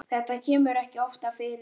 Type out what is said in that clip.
Þetta kemur ekki oftar fyrir.